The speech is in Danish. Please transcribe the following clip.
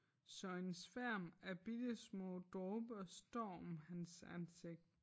Så en sværm af bittesmå dråber står om hans ansigt